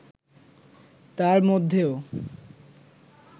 তার মধ্যেও